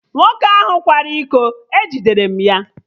Nwoke ahụ kwara iko, e jidere m ya